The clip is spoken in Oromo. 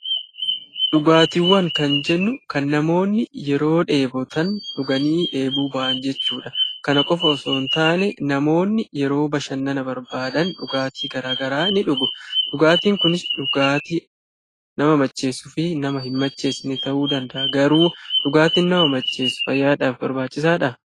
Dhugaatiiwwan kan jennu kan namoonni yeroo dheebotan dhuganii dheebuu ba'an jechuudha. Kana qofa osoon taane namoonni yeroo bashannana barbaadan dhugaatii garagaraa ni dhugu. Dhugaatiin kunis dhugaatii nama macheessuu fi nama hin macheessine ta'uu danda'a. Garuu dhugaatiin nama macheessu fayyaadhaaf barbaachisaadhaa?